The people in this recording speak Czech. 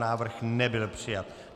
Návrh nebyl přijat.